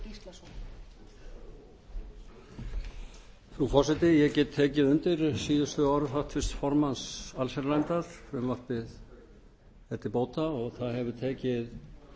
frú forseti ég get tekið undir orð háttvirts formanns allsherjarnefndar frumvarpið er til bóta og það hefur tekið